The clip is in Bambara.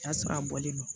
O y'a sɔrɔ a bɔlen no